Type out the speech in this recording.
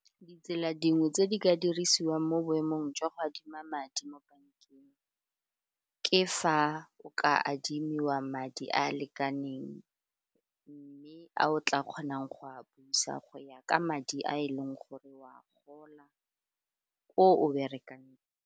Ditsela dingwe tse di ka dirisiwang mo boemong jwa go adima madi mo bankeng ke fa o ka adimiwa madi a a lekaneng mme a o tla kgonang go a busa go ya ka madi a e leng gore, o a gola ko o berekang.